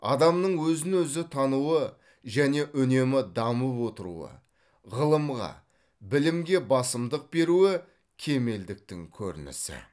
адамның өзін өзі тануы және үнемі дамып отыруы ғылымға білімге басымдық беруі кемелдіктің көрінісі